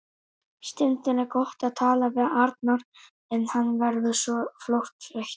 Stundum er gott að tala við Arnar en hann verður svo fljótt þreyttur.